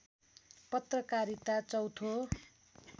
पत्रकारिता चौथो